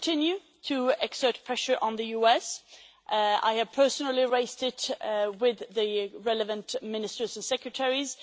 will continue to exert pressure on the USA. I have personally raised the issue with the relevant ministers and secretaries